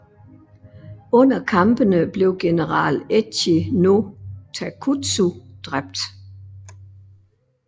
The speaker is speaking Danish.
Under kampene blev general Echi no Takutsu dræbt